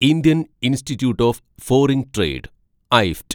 Indian institute of foreign trade (ഐഫ്റ്റ്)